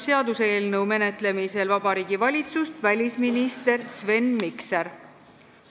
Seaduseelnõu menetlemisel Riigikogus esindab Vabariigi Valitsust välisminister Sven Mikser.